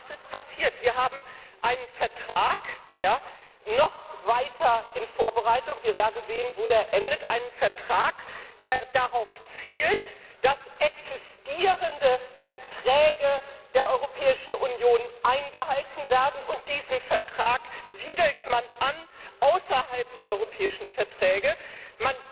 Was ist passiert? Wir haben einen Vertrag noch weiter in Vorbereitung wir werden sehen, wo er endet. Einen Vertrag, der darauf zielt, dass existierende Verträge der Europäischen Union eingehalten werden, und diesen Vertrag siedelt man außerhalb der Europäischen Verträge an.